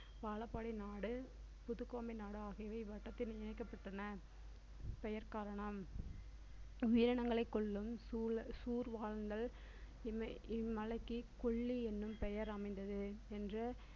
வாழப்பாடி நாடு, புதுக்கோமை நாடு ஆகியவை வட்டத்தின் இணைக்கப்பட்டன பெயர் கரணம் உயிரினங்களை கொல்லும் இம்மை~ இம்மலைக்கு கொல்லி என்ன பெயர் அமைந்தது